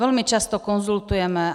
Velmi často konzultujeme.